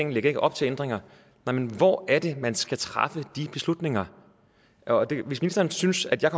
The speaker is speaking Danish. lægger op til ændringer men hvor er det man skal træffe de beslutninger hvis ministeren synes at jeg